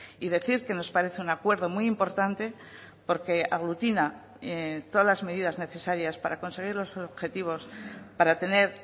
y decir que nos parece un acuerdo muy importante porque aglutina todas las medidas necesarias para conseguir los objetivos para tener